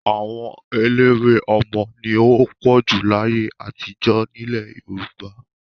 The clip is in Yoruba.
Àwọn eléwé ọmọ ni ó pọ̀jù láyé àtijọ́ nílẹ̀ Yorùbá.